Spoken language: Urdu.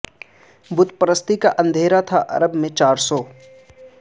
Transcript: بت پرستی کا اندھیرا تھا عرب میں چار سو